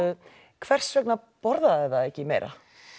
hvers vegna borðaði það ekki meira